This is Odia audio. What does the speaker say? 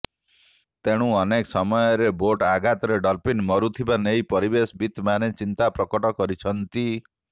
ତେଣୁ ଅନେକ ସମୟରେ ବୋଟ୍ ଆଘାତରେ ଡଲଫିନ୍ ମରୁଥିବା ନେଇ ପରିବେଶ ବିତମାନେ ଚିନ୍ତା ପ୍ରକଟ କରିଛନ୍ତି